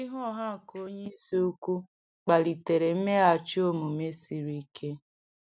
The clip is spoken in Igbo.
Okwu ihu ọha nke onye isi ukwu kpalitere mmeghachi omume siri ike.